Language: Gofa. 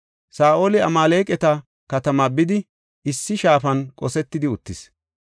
Saa7oli Amaaleqata katamaa bidi issi shaafan qosetidi uttis.